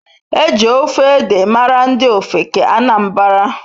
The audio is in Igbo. Eji ofe ede mara ndi ofeke Anambara.